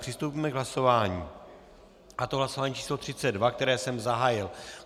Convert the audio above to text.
Přistoupíme k hlasování, a to hlasování číslo 32, které jsem zahájil.